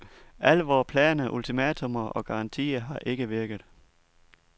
Alle vore planer, ultimatummer og garantier har ikke virket.